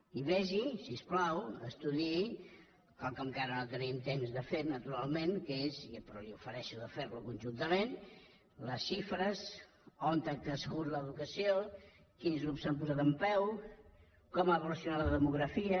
i vegi si us plau estudiï quelcom que ara no tenim temps de fer naturalment que és però li ofereixo de fer·ho conjun·tament les xifres on ha crescut l’educació quins grups s’han posat en peu com ha evolucionat la demografia